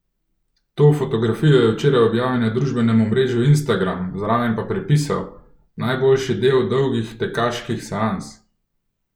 To fotografijo je včeraj objavil na družbenem omrežju Instagram, zraven pa pripisal: 'Najboljši del dolgih tekaških seans?